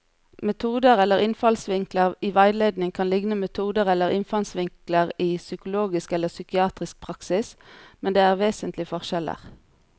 Metoder eller innfallsvinkler i veiledning kan likne metoder eller innfallsvinkler i psykologisk eller psykiatrisk praksis, men det er vesentlige forskjeller.